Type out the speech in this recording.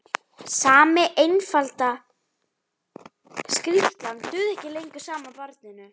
Sami einfalda skrýtlan dugði ekki lengur sama barninu.